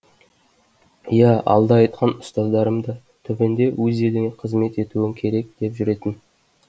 иә алда айтқан ұстаздарым да түбінде өз еліңе қызмет етуің керек деп жүретін